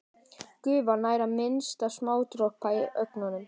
Gufan nær að mynda smádropa á ögnunum.